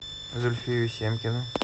зульфию семкину